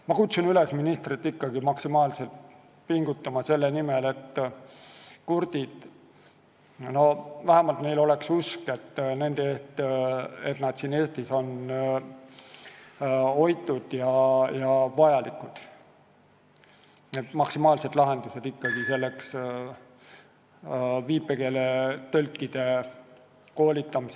Ma kutsun ministrit üles maksimaalselt pingutama selle nimel, et kurtidel oleks vähemalt usk, et nad on Eestis hoitud ja vajalikud, et püütakse leida lahendused viipekeeletõlkide koolitamiseks.